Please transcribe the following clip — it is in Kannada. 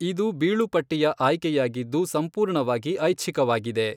ಇದು ಬೀಳುಪಟ್ಟಿಯ ಆಯ್ಕೆಯಾಗಿದ್ದು ಸಂಪೂರ್ಣವಾಗಿ ಐಚ್ಛಿಕವಾಗಿದೆ.